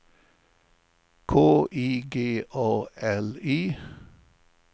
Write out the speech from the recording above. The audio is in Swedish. K I G A L I